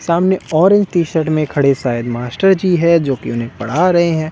सामने orange T-shirt में खड़े शायद मास्टर जी है जो कि उन्हें पढ़ा रहे हैं।